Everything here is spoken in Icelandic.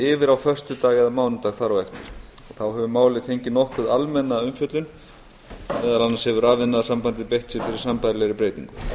yfir á föstudag eða mánudag þar á eftir þá hefur málið fengið nokkuð almenna umfjöllun meðal annars hefur rafiðnaðarsamband beitt sér fyrir sambærilegri breytingu